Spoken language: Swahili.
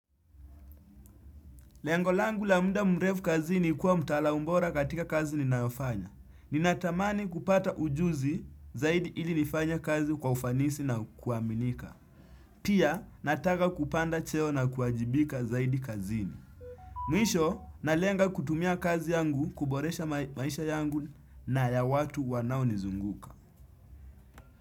Lengo langu la muda mrevu kazini kuwa mtaalamubora katika kazi ninayofanya. Ninatamani kupata ujuzi zaidi ili nifanye kazi kwa ufanisi na kuaminika. Pia, nataka kupanda cheo na kuajibika zaidi kazini. Mwisho, nalenga kutumia kazi yangu, kuboresha maisha yangu na ya watu wanaonizunguka.